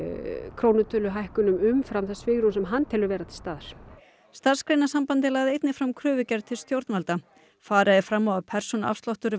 krónutöluhækkunum umfram það svigrúm sem hann telur vera til staðar Starfsgreinasambandið lagði einnig fram kröfugerð til stjórnvalda farið er fram á að persónuafsláttur